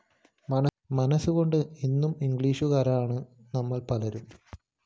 മനസ്സുകൊണ്ട് ഇന്നും ഇംഗ്ലീഷുകാരാണ് നമ്മള്‍ പലരും